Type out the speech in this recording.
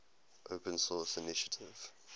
open source initiative